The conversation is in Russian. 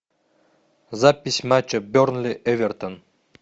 запись матча бернли эвертон